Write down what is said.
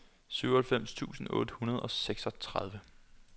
syvoghalvfems tusind otte hundrede og seksogtredive